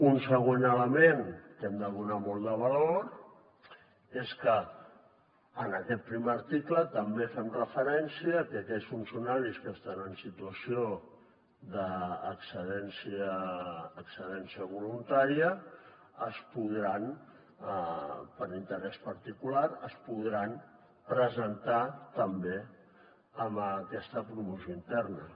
un següent element a què hem de donar molt de valor és que en aquest primer article també fem referència que aquells funcionaris que estan en situació d’excedència voluntària es podran per interès particular presentar també en aquesta promoció interna